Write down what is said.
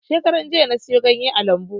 Shekaran jiya na siyo ganye a lambu